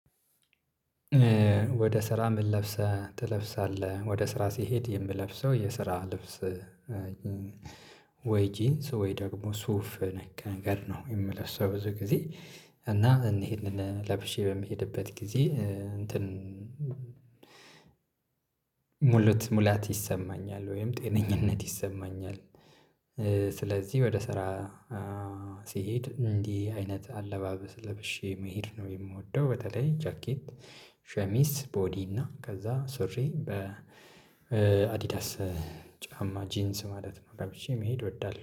ወደ ስራ ምን ለብሰህ ትለብሳለህ? ወደ ስራ ሲሄድ የምለብሰው የስራ ልብስ። ወይ ጂንስ ወይ ደግሞ ሱፍ ነገር ነው የምለብሰው ብዙ ጊዜ። እና እኒን ለብሼ በምሄድበት ጊዜ እንትን ሙሉት ሙላት ይሰማኛል ወይም ጤነኝነት ይሰማኛል። ስለዚህ ወደ ስራ ሲሄድ እንዲህ አይነት አለባበስ ለበሼ መሄድ ነው የምወደው። በተለይ ጃኬት ሸሚዝ ቦዲ እና ከዛ ሱሪ በ አዲዳስ ጫማ ጂንስ ማለት ነው ለብሼ መሄድ እወዳለሁ